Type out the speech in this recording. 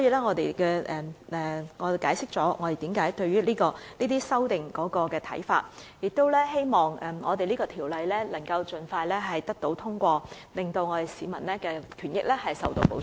我們解釋了我們對這些修正案的看法，並希望這項《條例草案》可盡快獲得通過，令市民的權益受到保障。